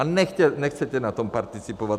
A nechcete na tom participovat.